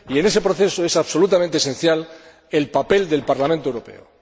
Y en ese proceso es absolutamente esencial el papel del Parlamento Europeo.